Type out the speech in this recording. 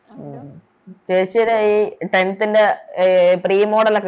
ആഹ് ആഹ് ചേച്ചിടെയി Tenth ൻറെ അഹ് Pre model ലോക്കെ